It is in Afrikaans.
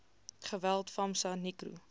geweld famsa nicro